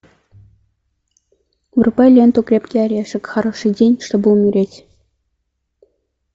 врубай ленту крепкий орешек хороший день чтобы умереть